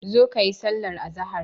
Zo kayi sallar azahar.